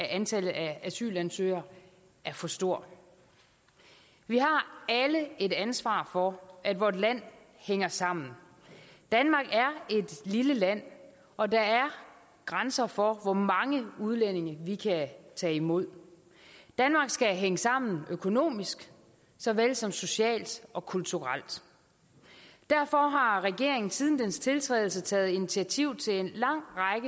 antallet af asylansøgere er for stor vi har alle et ansvar for at vort land hænger sammen danmark er et lille land og der er grænser for hvor mange udlændinge vi kan tage imod danmark skal hænge sammen økonomisk såvel som socialt og kulturelt derfor har regeringen siden dens tiltrædelse taget initiativ til en lang